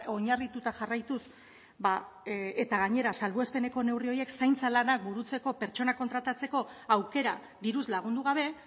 oinarrituta jarraituz eta gainera salbuespeneko neurri horiek zaintza lanak burutzeko pertsonak kontratatzeko aukera diruz lagundu gabe